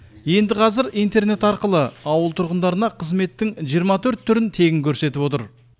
енді қазір интернет арқылы ауыл тұрғындарына қызметтің жиырма төрт түрін тегін көрсетіп отыр